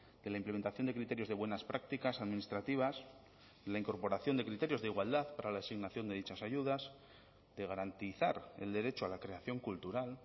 de la implementación de criterios de buenas prácticas administrativas la incorporación de criterios de igualdad para la asignación de dichas ayudas de garantizar el derecho a la creación cultural